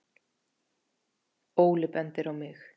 Óli bendir á mig